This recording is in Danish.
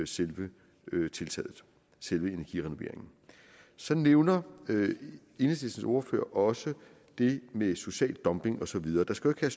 selve tiltaget selve energirenoveringen så nævner enhedslistens ordfører også det med social dumping og så videre der skal jo